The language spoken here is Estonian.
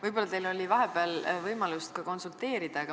Võib-olla oli teil vahepeal võimalus konsulteerida.